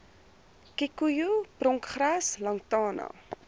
kikoejoe pronkgras lantana